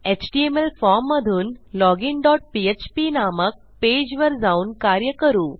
HTML फॉर्ममधून login dot PHP नामक पेजवर जाऊन कार्य करू